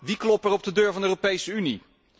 Wie klopt er op de deur van de Europese Unie?